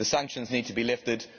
The sanctions need to be lifted.